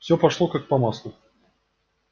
всё пошло как по маслу